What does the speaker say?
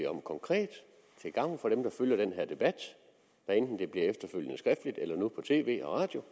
om konkret hvad enten det bliver efterfølgende skriftligt eller nu på tv og radio